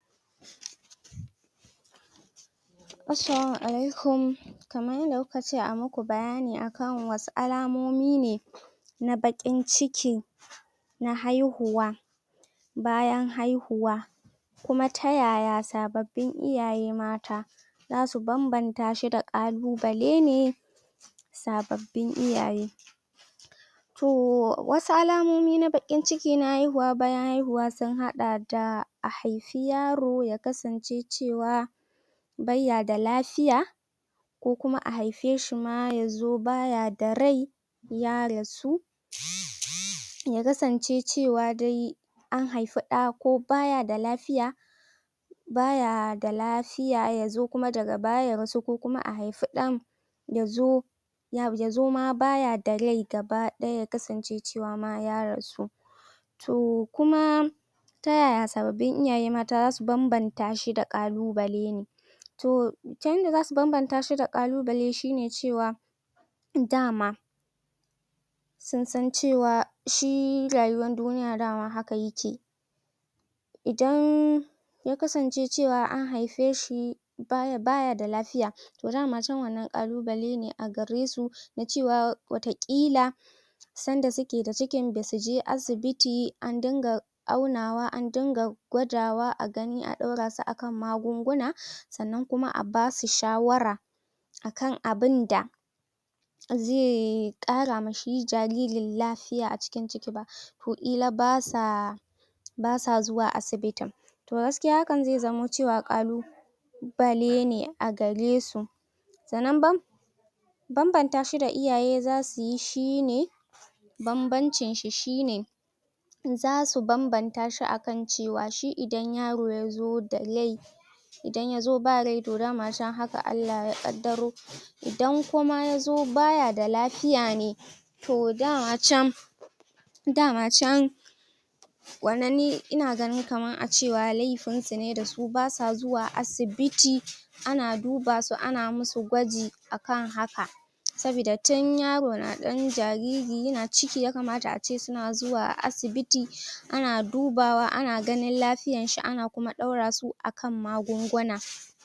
Assalamu alaikum kaman yanda kuka ce amaku bayani a kan wasu alamomine na bakin ciki na haihuwa bayan haihuwa kuma ta yaya sababbin iyaye mata zasu banbantashi da ƙalu balene sababbin iyaye to wasu alamomi na bakin ciki na haihuwa bayan haihuwa sun haɗa da a haifi yaro ya kasance cewa baiya da lafiya ko kuma a haife shima yazo baya da ryai ya rasu? yakasance cewa dai an haifa ɗa ko baya da lafiya baya da lafiya yazo kuma daga baya ya rasuwa ko kuma a haifi ɗan ya zo yazo ma baya da ryai gaba ɗaya yakasance cewama ya rasu to kuma ta yaya sababbin iyaye mata zasu ban ban tashi da ƙalu bale ne to ta idan zasu banban tashi da ƙalu bale shine cewa da ma susan cewa shi rayuwan duniya dama haka yake idan ya kasance cewa an haifeshi baya da lafiya to dama cen wannan ƙalubalena a garesu na cewan wata ƙila sanda suke da cikin basuje asi biti andunga aunawa andunga gwadawa agani a ɗaurasu akan magunguna sannan kuma abasu shawara akan abinda ze: ƙarama shi jaririn la fiya aciki ciki ba ƙila basa basa zuwa asibitin to gaskiya haka ze zamo cewa ƙalu balene agaresu sannan ban banban tashi da iyaye zasu yi shine banbancin shi shine zasu banban tashi akan cewa shi idan yaro yazo da ryai idan yazo ba ryai to dama cen haka Allah ya ƙaddaro idan kuma yazo baya da lafiya ne to dama can dama can wannan ni ina ganin kaman acewa lefin sune dasu basa zuwa asibiti ana dubasu ana musu gwaji akan haka sabida tin yaro na dan jariri yana ciki yakamata ace suna zuwa asibiti ana dubawa ana ganin la fiyanshi ana kuma ɗaurasu akan maguguna